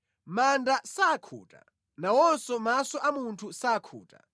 Manda sakhuta, nawonso maso a munthu sakhuta.